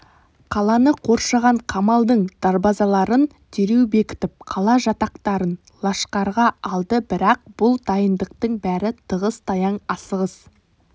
қаланы қоршаған қамалдың дарбазаларын дереу бекітіп қала жатақтарын лашқарға алды бірақ бұл дайындықтың бәрі тығыз-таяң асығыс